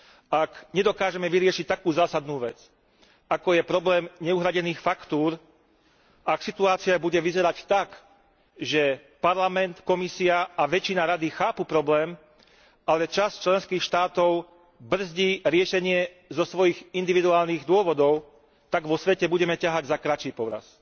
Ak nedokážeme vyriešiť takú zásadnú vec, ako je problém neuhradených faktúr, ak situácia bude vyzerať tak, že Parlament, Komisia a väčšina Rady chápu problém, ale časť členských štátov brzdí riešenie zo svojich individuálnych dôvodov, tak vo svete budeme ťahať za kratší povraz.